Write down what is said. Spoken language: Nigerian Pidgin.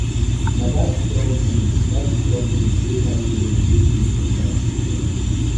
na dat strong wind dat strong wind wey carry rain wake me for night. um